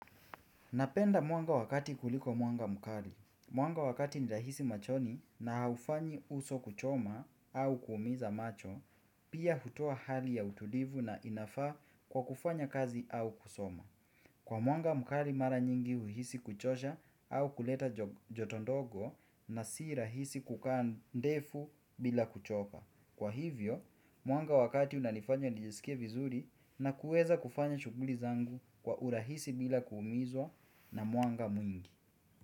Napenda mwanga wakati kuliko mwanga mkali. Mwanga wa kati ni rahisi machoni na haufanyi uso kuchoma au kuumiza macho, pia hutoa hali ya utulivu na inafaa kwa kufanya kazi au kusoma. Kwa mwanga mkali mara nyingi huhisi kuchosha au kuleta joto ndogo na si rahisi kukaa ndefu bila kuchoka. Kwa hivyo, mwanga wakati unanifanya nijisikie vizuri na kuweza kufanya shughuli zangu kwa urahisi bila kuumizwa na mwanga mwingi.